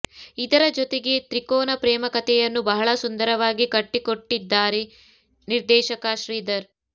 ಇದರ ಜೊತೆಗೆ ತ್ರಿಕೋನ ಪ್ರೇಮಕಥೆಯನ್ನು ಬಹಳ ಸುಂದರವಾಗಿ ಕಟ್ಟಿಕೊಟ್ಟಿದ್ದಾರೆ ನಿರ್ದೇಶಕ ಶ್ರೀಧರ್